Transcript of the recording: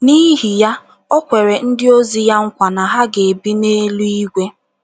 N’ihi ya, o kwere ndịozi ya nkwa na ha ga - ebi n’eluigwe.